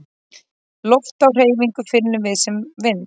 Loft á hreyfingu finnum við sem vind.